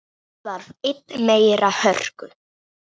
Það þarf enn meiri hörku!